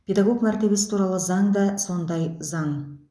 педагог мәртебесі туралы заң да сондай заң